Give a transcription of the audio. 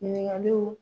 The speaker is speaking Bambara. Ɲininkaliw